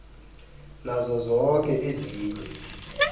nazo zoke ezinye